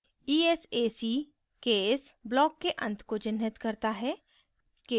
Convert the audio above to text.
esac case block के अंत को चिन्हित करता है